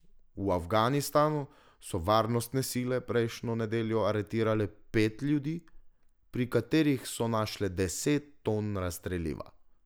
V Afganistanu so varnostne sile prejšnjo nedeljo aretirale pet ljudi, pri katerih so našle deset ton razstreliva.